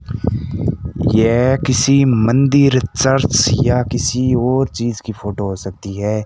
यह किसी मंदिर चर्च या किसी और चीज की फोटो हो सकती है।